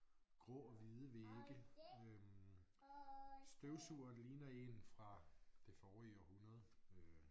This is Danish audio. Grå og hvide vægge øh støvsugeren ligner en fra det forrige århundrede øh